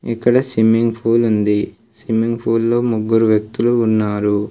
ఇక్కడ swimming pool ఉంది swimming pool లో ముగ్గురు వ్యక్తులు ఉన్నారు.